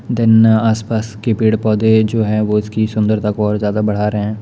Then आसपास के पेड़-पोधे जो हैं वो इसकी सुंदरता को और ज्यादा बढ़ा रहें हैं।